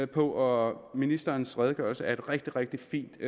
på og ministerens redegørelse er et rigtig rigtig fint